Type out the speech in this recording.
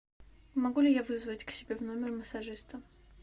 могу ли я вызвать к себе в номер массажиста